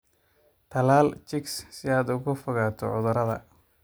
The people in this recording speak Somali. Tallaal chicks si aad uga fogaato cudurada.